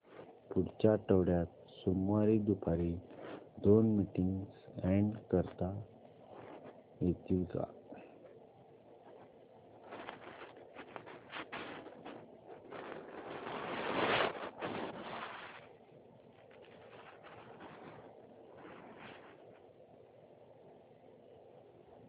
पुढच्या आठवड्यात सोमवारी दुपारी दोन मीटिंग्स अॅड करता येतील का